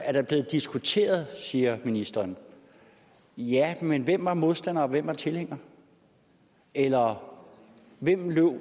er der blevet diskuteret siger ministeren ja men hvem var modstander og hvem var tilhænger eller hvem løb